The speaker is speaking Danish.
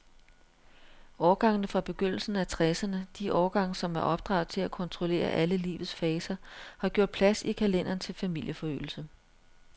Årgangene fra begyndelsen af tresserne, de årgange, som er opdraget til at kontrollere alle livets faser, har gjort plads i kalenderen til familieforøgelse.